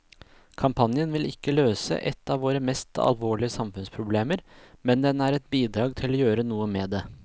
Kampanjen vil ikke løse et av våre mest alvorlige samfunnsproblemer, men den er et bidrag til å gjøre noe med det.